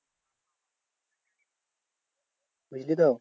বুঝলিতো?